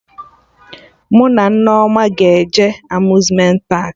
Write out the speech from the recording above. Mụ na Nneoma ga-eje Amuzmenti paakị